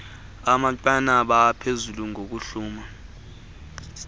amanqanaba aphezulu okuhluma